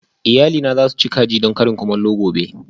Iyalina za su ci kaji don karin kumallo gobe